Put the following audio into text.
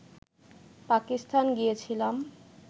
পাকিস্তান গিয়েছিলাম